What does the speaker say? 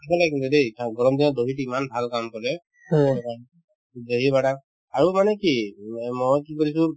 খাব লাগে কিন্তু দেই গৰম দিনত dahi তো ইমান ভাল কাম কৰে শৰীৰ কাৰণে dahi wada আৰু মানে কি মই কি কৰিছো